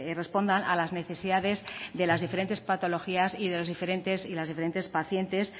respondan a las necesidades de las diferentes patologías y de los diferentes y las diferentes pacientes